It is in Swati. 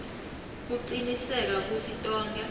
kucinisekisa kutsi tonkhe